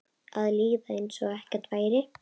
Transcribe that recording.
Að líða einsog ekkert væri.